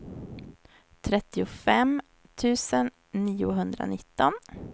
trettiofem tusen niohundranitton